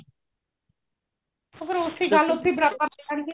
ਫ਼ੇਰ ਉੱਥੇ ਈ ਗੱਲ ਉੱਥੇ ਬਰਾਬਰ ਜੇ ਆਣਗੇ